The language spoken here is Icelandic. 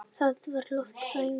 Það var loftvarnaæfing!